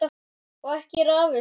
Og ekki er afi síðri.